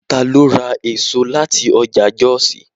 Ta ló ra èso láti ọjà Jọ́òsì?